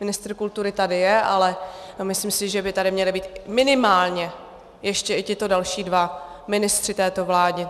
Ministr kultury tady je, ale myslím si, že by tady měli být minimálně ještě i tito další dva ministři této vlády.